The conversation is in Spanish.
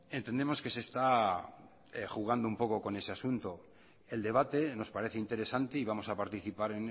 entendemos que se está jugando un poco con ese asunto el debate nos parece interesante y vamos a participar